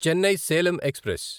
Chennai Salem express